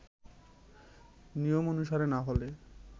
নিয়ম অনুসারে না হলে